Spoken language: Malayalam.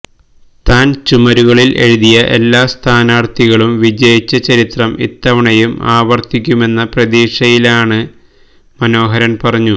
താൻ ചുമരുകളിൽ എഴുതിയ എല്ലാ സ്ഥാനാർഥികളും വിജയിച്ച ചരിത്രം ഇത്തവണയും ആവർത്തിക്കുമെന്ന പ്രതീക്ഷയിലാണെന്ന് മനോഹരൻ പറഞ്ഞു